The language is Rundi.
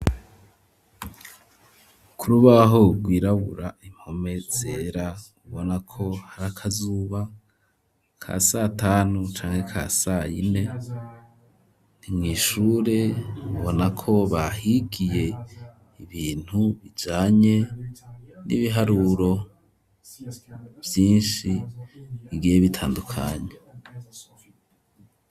Ku rubaho rwirabura, impome zera, ubona ko hari akazuba ka satanu canke ka sayine, ni mw'ishure ubona ko bahigiye ibintu bijanye n'ibiharuro vyinshi bigiye bitandukanye.